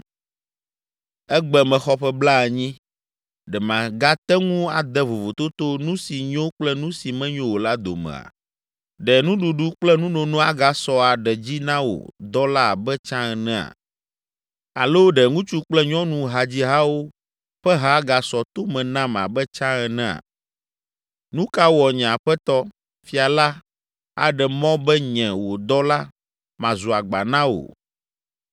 Egbe mexɔ ƒe blaenyi; ɖe magate ŋu ade vovototo nu si nyo kple nu si menyo o la domea? Ɖe nuɖuɖu kple nunono agasɔ aɖe dzi na wò dɔla abe tsã enea? Alo ɖe ŋutsu kple nyɔnu hadzihawo ƒe ha agasɔ to me nam abe tsã enea? Nu ka wɔ nye aƒetɔ, fia la aɖe mɔ be nye, wò dɔla, mazu agba na wò?